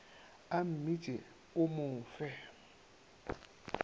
a mmitše o mo fe